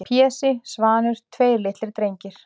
Pési, Svanur, tveir litlir drengir-